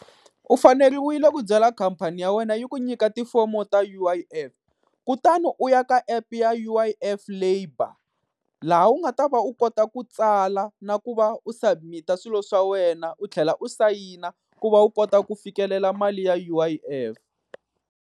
U faneriwile ku byela khampani ya wena yi ku nyika tifomo ta U_I_F, kutani u ya ka app ya U_I_F labour laha u nga ta va u kota ku tsala na ku va u submit-a swilo swa wena u tlhela u sayina ku va u kota ku fikelela mali ya U_I_F.